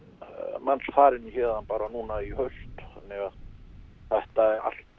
manns farin héðan bara núna í haust þannig að þetta